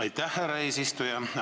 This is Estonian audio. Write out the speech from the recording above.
Aitäh, härra eesistuja!